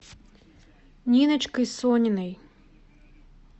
ниночкой сониной